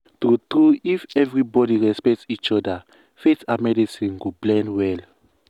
true true if everybody respect each other faith and medicine go blend well.